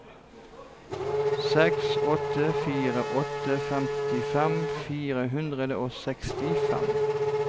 seks åtte fire åtte femtifem fire hundre og sekstifem